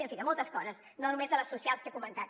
en fi de moltes coses no només de les socials que he comentat